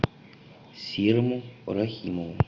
серому рахимову